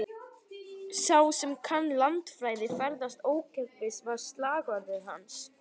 Sá sem kann landafræði, ferðast ókeypis, var slagorð hans.